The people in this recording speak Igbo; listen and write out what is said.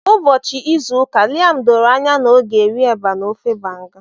Ụbọchị izu ụka Liam doro anya na ọ ga-rie eba na ofe Banga.